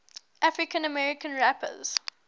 african american rappers